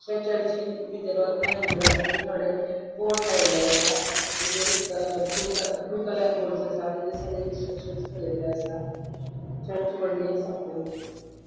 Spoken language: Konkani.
थय चरचींन बितर वतना एन्ट्रन्सचे थोड़े बोर्ड लायल्ले असा ताचेर अ ब्लू कल ब्लू कलर बोर्डस असा तचे सकल इन्सट्रैक्शन बरेल्ले असा चर्च वडली असा खुब.